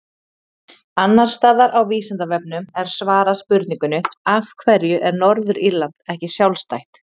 Annars staðar á Vísindavefnum er svarað spurningunni Af hverju er Norður-Írland ekki sjálfstætt?